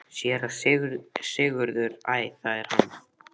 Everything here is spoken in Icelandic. SÉRA SIGURÐUR: Æ, það er hann!